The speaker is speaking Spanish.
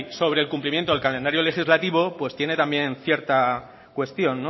sobre el cumplimiento del calendario legislativo pues tiene también cierta cuestión